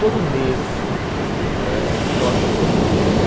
Todo mês né nós jantamos juntos.